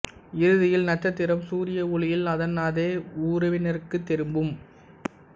இறுதியில் நட்சத்திரம் சூரிய ஒளியில் அதன் அதே உறவினருக்குத் திரும்பும்